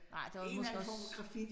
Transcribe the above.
Nej der var måske også